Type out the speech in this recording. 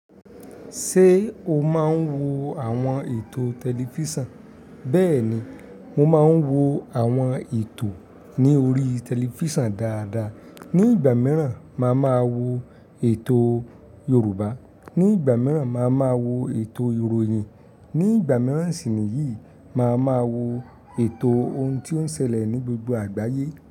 Te o máa ń wo àwọn ètò tẹlifísàn? Bẹ́ẹ̀ni, mo máa ń wo àwọn ètò ní orí tẹlifísàn dáadáa. Ni ìgbà mìíràn, màá ma wo ètò Yorùbá. Ni ìgbà mìíràn, màá ma wo ètò ìròyìn. Ni ìgbà mìíràn sì ni yìí, màá ma wo ètò ohun tí ó ń ṣẹlẹ̀ ní gbogbo àgbáyé.